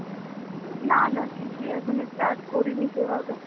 না না কিছুই এখনও start করিনি সেভাবে.